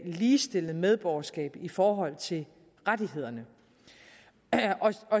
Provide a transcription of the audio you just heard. ligestillet medborgerskab i forhold til rettighederne